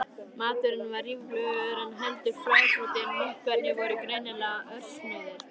Maturinn var ríflegur, en heldur fábrotinn- munkarnir voru greinilega örsnauðir.